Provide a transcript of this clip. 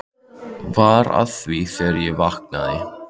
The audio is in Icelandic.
Var að því þegar ég vaknaði.